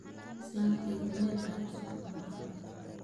Islanteydha Mel aay usocoto malaxan.